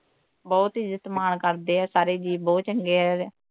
ਬਹੁਤ ਹੀ ਇੱਜਤ ਮਾਣ ਕਰਦੇ ਆ ਸਾਰੇ ਜੀਅ ਬਹੁਤ ਚੰਗੇ ਐ